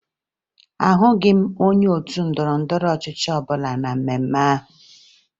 Ahụghị m onye otu ndọrọndọrọ ọchịchị ọbụla na mmemme ahụ